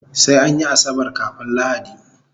Sai anyi asabar kafun lahadi